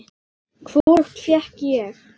Hvorugt fékk ég.